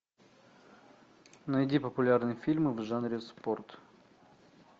найди популярные фильмы в жанре спорт